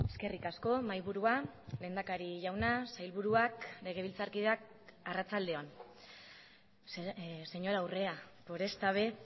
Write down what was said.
eskerrik asko mahaiburua lehendakari jauna sailburuak legebiltzarkideak arratsalde on señora urrea por esta vez